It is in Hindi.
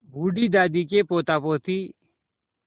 बूढ़ी दादी के पोतापोती